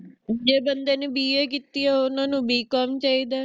ਜੇ ਬੰਦੇ ਨੇ BA ਕੀਤੀ ਏ ਤਾ ਓਹਨਾ ਨੂੰ Bcom ਚਾਹੀਦਾ